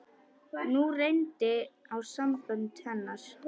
Nú reyndi á sambönd hennar.